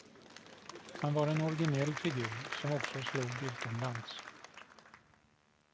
Han var en originell figur som också slog utomlands.